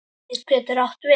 Spaði getur átt við